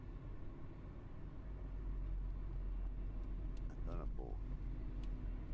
A história boa.